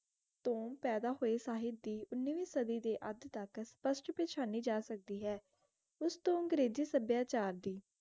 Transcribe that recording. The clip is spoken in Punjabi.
ਤੋਂ ਪੈਦਾ ਹੋਆਯ ਸਾਹਿਬ ਦੀ ਉਨਾਵੀ ਸਾਡੀ ਦੇ ਅਧ ਤਕ ਪੇਚਾਨੀ ਜਾ ਸਕਦੀ ਆਯ ਓਸ ਤੋਂ ਅੰਗ੍ਰੇਜੀ ਸਭ੍ਯਾਚਾਰ ਦੀ